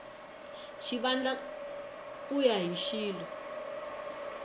xivandla ku ya hi xilo